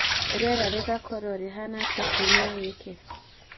rĩera rĩgaakorwo rĩhaana atĩa kiumia gĩkĩ